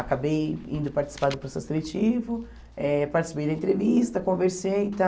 Acabei indo participar do processo seletivo, eh participei da entrevista, conversei e tal.